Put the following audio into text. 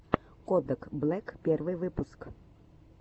кодак блэк первый выпуск